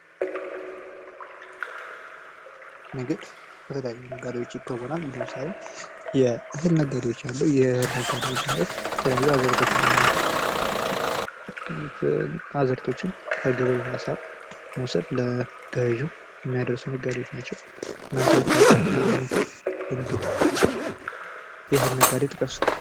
ንግድ በተለያዩ ነጋዴዎች ይከወናል። ለምሳሌ የእህል ነጋዴዎች ማለት የትለያዩ አዝእርቶች እና አዝእርቶች ከገበሬው ማሳ በመዉሰድ ለገዡ የሚያደርሱ ናቸው። እናንተ የምታቁት የእህል ነጋዴ ጥቀሱ?